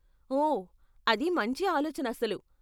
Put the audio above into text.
ఓ, అది మంచి ఆలోచన అసలు.